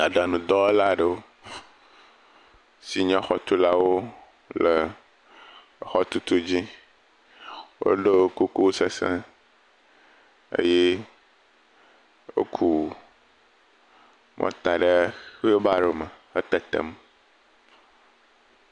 Aɖaŋudɔwɔla si nye xɔtulawo le exɔtutu dzi. Woɖo kuku sesẽ eye woku mɔta ɖe xuilbaro hetetem.